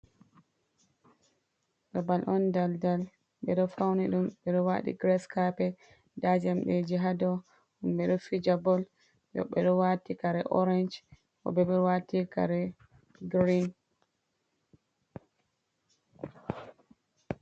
Babal on dal dal ɓeɗo fauni ɗum ɓe ɗo waɗi giras kapet nda jamɗeji ha dou himɓe ɗo fija bol ɓeɗo wati kare orensh woɓɓe bo waati kare girin.